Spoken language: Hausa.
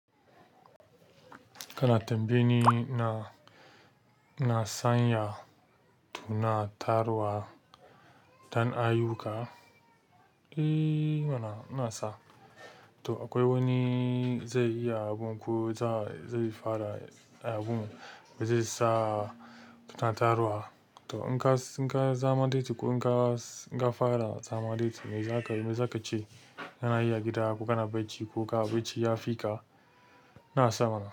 Kana tambaye ni ina sanya tunatarwa tan ayuka. Eh mana, ina sa. To akwai wani zai iya abun ko za zai fara abun ba zai sa tunatarwa. To in ka, in ka zama late ko in ka, in ka fara zama late me za ka, me za ka ce? Kana yi a gida, ko kana bacci ko ka bacci ya fi ka, na sa mana.